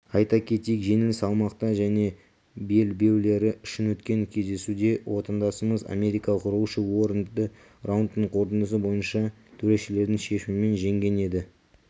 айта кетейік жеңіл салмақта және белбеулері үшін өткен кездесуде отандасымыз америкалық роуши уорренді раундтың қорытындысы бойынша төрешілердің шешімімен жеңген еді